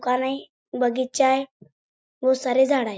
दुकान आहे बगीचा आहे बहुत सारे झाड आहे.